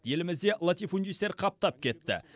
елімізде латифундистер қаптап кетті